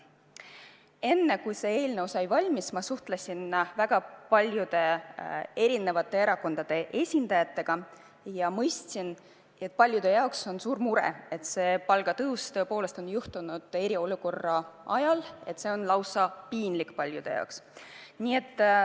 Enne kui see eelnõu valmis sai, ma suhtlesin väga paljude eri erakondade esindajatega ja mõistsin, et paljude jaoks on see, et see palgatõus on sattunud kriisiajale, lausa piinlik.